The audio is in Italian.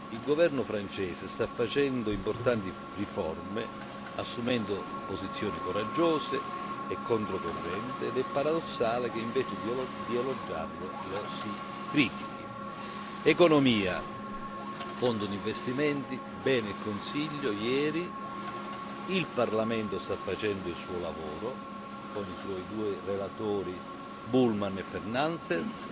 Il governo francese sta facendo importanti riforme, assumendo posizioni coraggiose e contro corrente, ed è paradossale che invece di elogiarlo lo si critichi. Economia Fondo di investimenti, bene il Consiglio ieri. Il Parlamento sta facendo il suo lavoro con i suoi due relatori Bullmann e Fernandes.